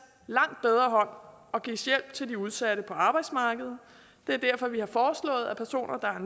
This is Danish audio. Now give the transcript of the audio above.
langt bedre hånd om og gives hjælp til de udsatte på arbejdsmarkedet det er derfor vi har foreslået at personer der